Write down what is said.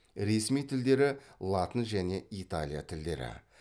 ресми тілдері латын және италия тілдері